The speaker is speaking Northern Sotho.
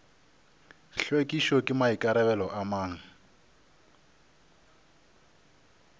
hlwekišo ke maikarabelo a mang